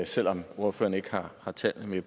selv om ordføreren ikke har tallene